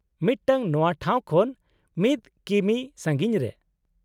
-ᱢᱤᱫᱴᱟᱝ ᱱᱚᱶᱟ ᱴᱷᱟᱶ ᱠᱷᱚᱱ ᱑ ᱠᱤᱢᱤ ᱥᱟᱺᱜᱤᱧ ᱨᱮ ᱾